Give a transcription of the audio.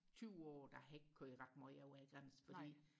tyve år der har jeg ikke kørt ret meget over grænsen fordi